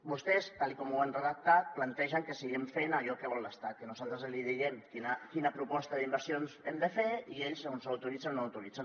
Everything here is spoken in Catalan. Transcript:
vostès tal com ho han redactat plantegen que seguim fent allò que vol l’estat que nosaltres els diguem quina proposta d’inversions hem de fer i ells ens ho autoritzen o no autoritzen